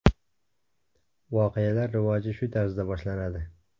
Voqealar rivoji shu tarzda boshlanadi.